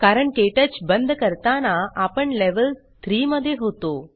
कारण क्टच बंद करताना आपण लेव्हल 3 मध्ये होतो